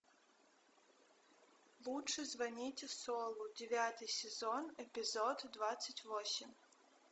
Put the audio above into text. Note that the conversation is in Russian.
лучше звоните солу девятый сезон эпизод двадцать восемь